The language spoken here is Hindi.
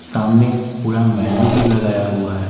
सामने पूरा मेनू भी लगाया हुआ है।